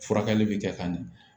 Furakɛli bi kɛ ka ɲɛ